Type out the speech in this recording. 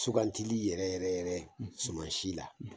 Sugandili yɛrɛ yɛrɛ sumansi la